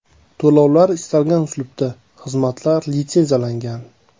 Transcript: To‘lovlar istalgan uslubda Xizmatlar litsenziyalangan.